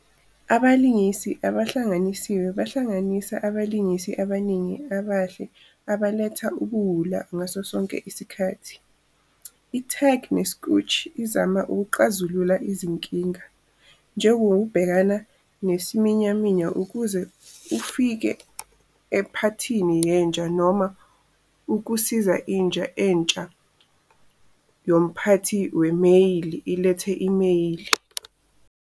Abalingisi abahlanganisiwe bahlanganisa abalingisi abaningi abahle abaletha ubuwula ngaso sonke isikhathi. I-Tag ne-Scooch izama ukuxazulula izinkinga, njengokubhekana nesiminyaminya ukuze ufike ephathini yenja noma ukusiza inja entsha yomphathi wemeyili ilethe imeyili.